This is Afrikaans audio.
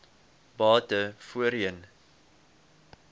bate voorheen